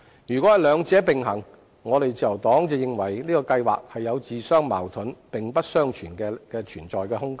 如果是兩者並行，自由黨認為這個計劃自相矛盾，沒有並存的空間。